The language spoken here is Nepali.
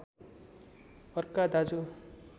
अर्का दाजु